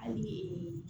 Hali